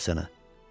Nə olub sənə?